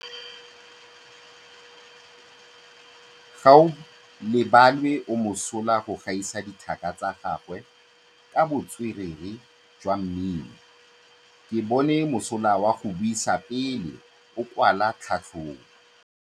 Gaolebalwe o mosola go gaisa dithaka tsa gagwe ka botswerere jwa mmino. Ke bone mosola wa go buisa pele o kwala tlhatlhobô.